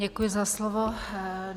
Děkuji za slovo.